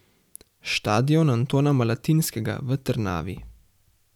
Štadion Antona Malatinskega v Trnavi.